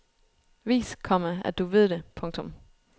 Vis, komma at du ved det. punktum